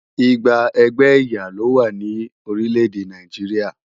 Igba ẹgbẹ́ ẹ̀yà lówá ní orílèdè Nàìjíríà